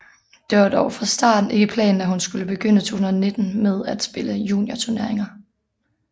Det var dog fra starten ikke planen at hun skulle begynde 2019 med at spille juniorturneringer